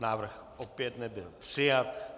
Návrh opět nebyl přijat.